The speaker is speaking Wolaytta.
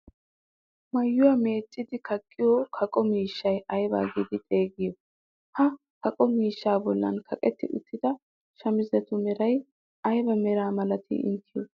Maayuwaa meeccidi kaqqiyoo kaqo miishshaa aybaa giidi xeegiyoo? Ha kaqo miishshaa bolli kaqetti uttida shamizetu meray ayba meraa milatii inteyoo?